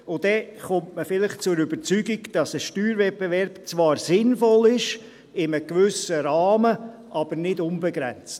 Dann kommt man vielleicht zur Überzeugung, dass ein Steuerwettbewerb in einem gewissen Rahmen zwar sinnvoll ist, aber nicht unbegrenzt.